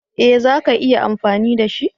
Ee za ka iya amfani da shi.